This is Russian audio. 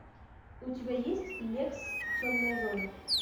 у тебя есть лекс темная зона